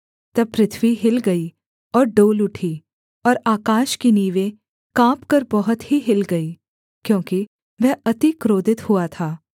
तब पृथ्वी हिल गई और डोल उठी और आकाश की नींवें काँपकर बहुत ही हिल गईं क्योंकि वह अति क्रोधित हुआ था